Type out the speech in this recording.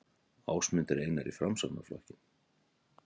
Ásmundur Einar í Framsóknarflokkinn